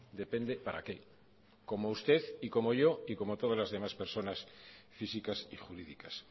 depende para qué como usted y como yo y como todas las demás personas físicas y jurídicas